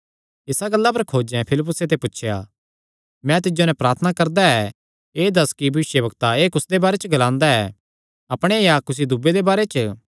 इस गल्ला पर खोजें फिलिप्पुसे ते पुछया मैं तिज्जो नैं प्रार्थना करदा ऐ एह़ दस्स कि भविष्यवक्ता एह़ कुसदे बारे च ग्लांदा ऐ अपणे या कुसी दूये दे बारे च